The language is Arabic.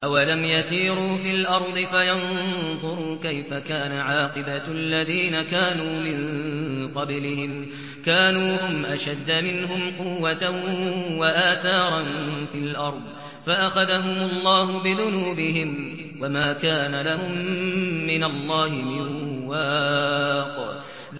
۞ أَوَلَمْ يَسِيرُوا فِي الْأَرْضِ فَيَنظُرُوا كَيْفَ كَانَ عَاقِبَةُ الَّذِينَ كَانُوا مِن قَبْلِهِمْ ۚ كَانُوا هُمْ أَشَدَّ مِنْهُمْ قُوَّةً وَآثَارًا فِي الْأَرْضِ فَأَخَذَهُمُ اللَّهُ بِذُنُوبِهِمْ وَمَا كَانَ لَهُم مِّنَ اللَّهِ مِن وَاقٍ